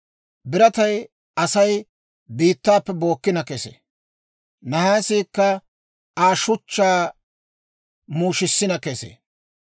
Biratay Asay biittaappe bookkina kesee; nahaasiikka Aa shuchchaa muushisina kesee.